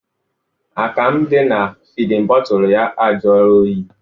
Akamụ dị na fidin bọtụlụ ya ajụọla oyi.